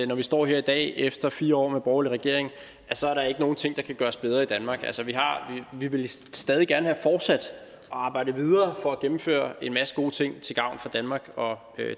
når vi står her i dag efter fire år med en borgerlig regering så er der ikke nogen ting der kan gøres bedre i danmark vi ville stadig gerne have fortsat og arbejdet videre for at gennemføre en masse gode ting til gavn for danmark og